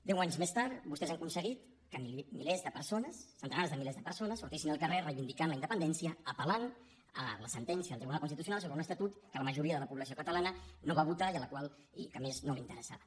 deu anys més tard vostès han aconseguit que milers de persones centenars de milers de persones sortissin al carrer reivindicant la independència apel·lant a la sentència del tribunal constitucional sobre un estatut que la majoria de la població catalana no va votar i a la qual a més no interessava